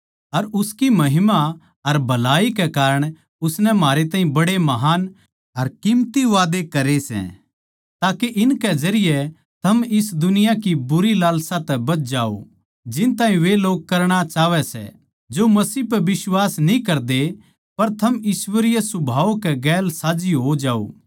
अर उसकी महिमा अर भलाई के कारण उसनै म्हारै ताहीं बड़े महान अर कीमती वादै करे सै ताके इनकै जरिये थम इस दुनिया की बुरी लालसा तै बच जाओ जिन ताहीं वे लोग करणा चाहवै सै जो मसीह पै बिश्वास न्ही करदे पर थम ईश्वरीय सुभाव के गेलसाझ्झी हो जाओ